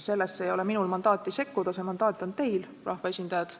Sellesse ei ole minul mandaati sekkuda, see mandaat on teil, rahvaesindajad.